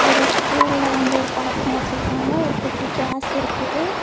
ஒரு இஸ்டூல வந்து ஒரு பாத்திரம் வச்சிருக்காங்க ஒரு குட்டி கேஸ் இருக்குது.